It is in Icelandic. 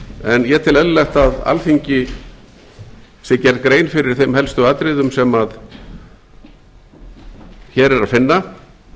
en ég tel eðlilegt að alþingi sé gerð grein fyrir þeim helstu atriðum sem hér er að finna